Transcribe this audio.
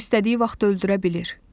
O istədiyi vaxt öldürə bilir.